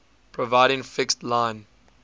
providing fixed line